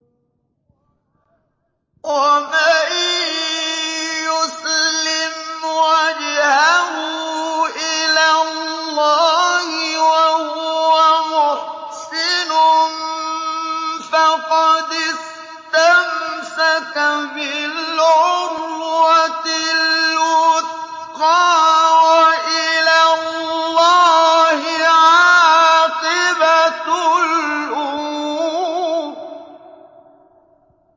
۞ وَمَن يُسْلِمْ وَجْهَهُ إِلَى اللَّهِ وَهُوَ مُحْسِنٌ فَقَدِ اسْتَمْسَكَ بِالْعُرْوَةِ الْوُثْقَىٰ ۗ وَإِلَى اللَّهِ عَاقِبَةُ الْأُمُورِ